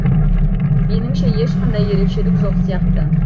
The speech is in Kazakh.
меніңше ешқандай ерекшелік жоқ сияқты